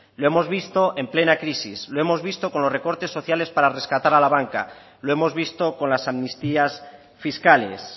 lo hemos visto en plena crisis lo hemos visto con los recortes sociales para rescatar a la banca lo hemos visto con las amnistías fiscales